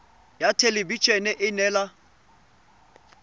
ya thelebi ene e neela